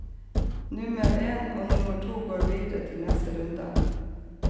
Nummer én og nummer to går videre til neste runde.